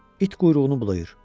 İt quyruğunu bulayır.